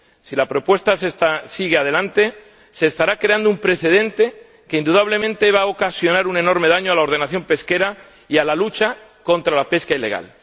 Si la propuesta sigue adelante, se estará creando un precedente que indudablemente va a ocasionar un enorme daño a la ordenación pesquera y a la lucha contra la pesca ilegal.